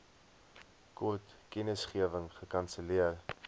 kort kennisgewing gekanselleer